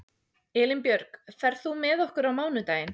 Elínbjörg, ferð þú með okkur á mánudaginn?